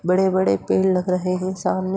बड़े पेड़ लग रहें हैं सामने --